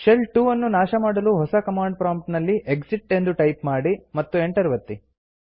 shell 2 ನ್ನು ನಾಶ ಮಾಡಲು ಹೊಸ ಕಮಾಂಡ್ ಪ್ರಾಂಪ್ಟ್ ನಲ್ಲಿ ಎಕ್ಸಿಟ್ ಎಂದು ಟೈಪ್ ಮಾಡಿ ಮತ್ತು ಎಂಟರ್ ಒತ್ತಿ